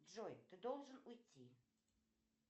джой ты должен уйти